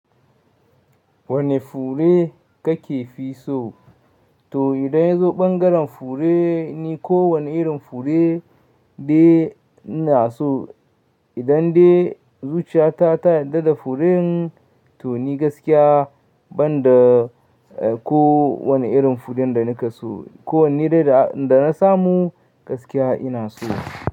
Wane fure kake fi so? To idan ya zo ɓangaren fure ni kowane irin fure dai ina so. Idan dai zuciyata ta yarda da furen to ni gaskiya banda ko wane irin furen da nake so, ko wane dai dana samu gaskiya ina so.